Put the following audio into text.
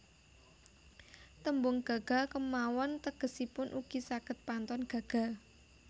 Tembung gaga kémawon tegesipun ugi saged pantun gaga